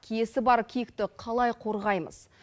киесі бар киікті қалай қорғаймыз